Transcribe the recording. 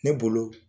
Ne bolo